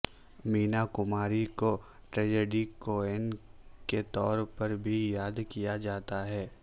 مینا کماری کو tragedy queen کے طور پر بھی یاد کیا جاتا ہے